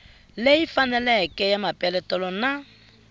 leyi faneleke ya mapeletelo na